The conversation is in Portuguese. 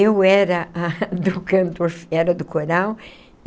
Eu era a do canto era do coral.